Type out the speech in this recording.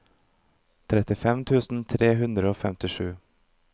trettifem tusen tre hundre og femtisju